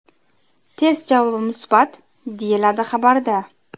Test javobi musbat”, deyiladi xabarda.